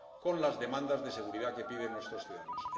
con las demandas de seguridad que piden nuestros ciudadanos.